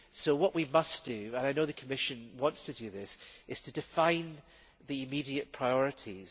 What we must do, and I know the Commission wants to do this, is define the immediate priorities.